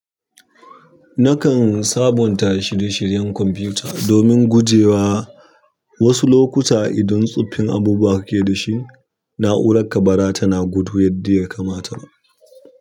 Nakan sabunta shirye-shiryen kwamfuta domin guje wa wasu lokuta idan tsoffin abubuwa kake da shi, na'urar ka baza tana gudu yadda ya kamata ba.